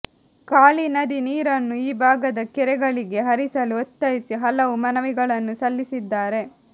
ಕಾಳಿ ನದಿ ನೀರನ್ನು ಈ ಭಾಗದ ಕೆರೆಗಳಿಗೆ ಹರಿಸಲು ಒತ್ತಾಯಿಸಿ ಹಲವು ಮನವಿಗಳನ್ನು ಸಲ್ಲಿಸಿದ್ದಾರೆ